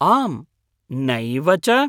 आम् नैव च!